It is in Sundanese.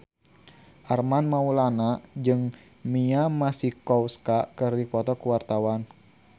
Armand Maulana jeung Mia Masikowska keur dipoto ku wartawan